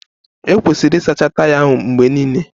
E kwesiri ịsacha taya ahụ mgbe niile.